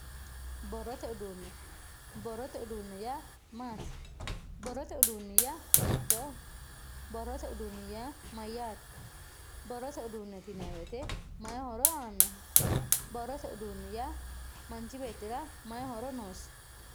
Borrote uduune, borrote uduune yaa maati, borrote uduuni yaa hiitttoho, borrote uduuni yaa mayyate, borrote uduuneti yinanni woyte mayi horo aanoho, borrote uduune yaa manchi beettira mayi horo noosi ?